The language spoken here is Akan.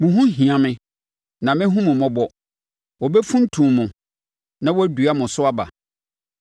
Mo ho hia me na mɛhunu mo mmɔbɔ; wɔbɛfuntum mo na wɔadua mo so aba,